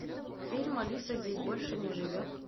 фильм алиса здесь больше не живет